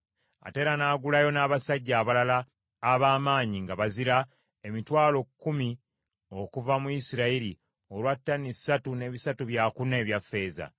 Ate era n’agulayo n’abasajja abalala ab’amaanyi nga bazira emitwalo kkumi okuva mu Isirayiri, olwa ttani ssatu ne bisatu byakuna ebya ffeeza.